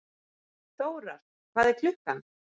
Þórar, hvað er klukkan?